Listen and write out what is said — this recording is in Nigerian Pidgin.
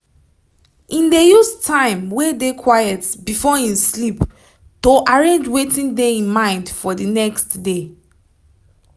im dey use time wey dey quiet before im sleep to arrange wetin dey im mind for d next day